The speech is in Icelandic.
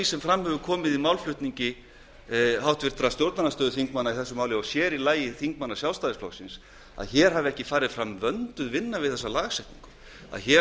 sem fram hefur komið í málflutningi háttvirtra stjórnarandstöðuþingmanna í málinu og sér í lagi þingmanna sjálfstæðisflokksins að ekki hafi farið fram vönduð vinna við þessa lagasetningu að einhver